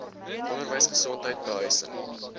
onderwys gesondheid behuising